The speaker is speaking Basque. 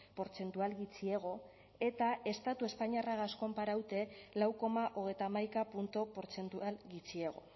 portzentual gutxiago eta estatu espainiarragaz konparaute lau koma hogeita hamaika puntu portzentual gutxiago